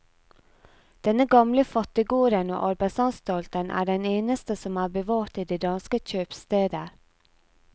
Denne gamle fattiggården og arbeidsanstalten er den eneste som er bevart i de danske kjøpsteder.